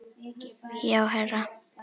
Já, herra